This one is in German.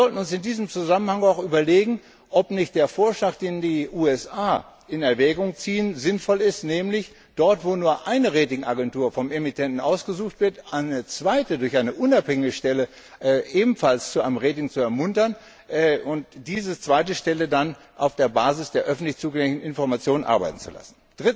Wir sollten uns in diesem Zusammenhang auch überlegen, ob nicht der Vorschlag, den die USA in Erwägung zieht, sinnvoll ist, nämlich dort, wo nur eine Rating Agentur vom Emittenten ausgesucht wird, eine zweite durch eine unabhängige Stelle ebenfalls zu einem Rating zu ermuntern und diese zweite Stelle dann auf der Basis der öffentlich zugänglichen Information arbeiten zu lassen.